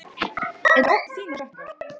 Mikið held ég hún sé illa gefin.